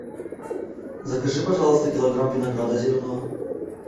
закажи пожалуйста килограмм винограда зеленого